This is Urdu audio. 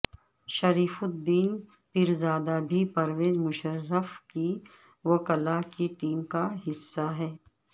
شریف الدین پیرزادہ بھی پرویز مشرف کی وکلا کی ٹیم کا حصہ ہیں